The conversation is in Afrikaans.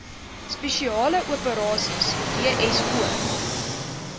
spesiale operasies dso